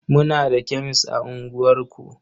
Muna da kemes a unguwarku.